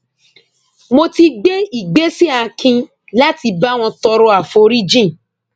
mo ti gbé ìgbésẹ akin láti bá wọn tọrọ aforíjìn